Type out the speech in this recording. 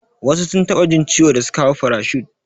Wasu sun taɓa jin ciwo da suka hau fairet shif